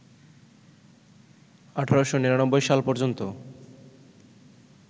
১৮৯৯ সাল পর্যন্ত